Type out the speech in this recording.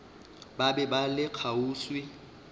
ba be ba le kgauswi